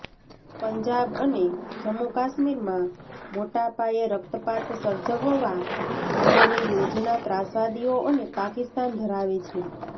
પંજાબ અને જમ્મુ કાશ્મીરમાં મોટા પાયે રક્તપાત સર્જવવા માટેની યોજના ત્રાસવાદીઓ અને પાકિસ્તાન ધરાવે છે